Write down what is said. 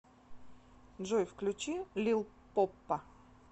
джой включи лил поппа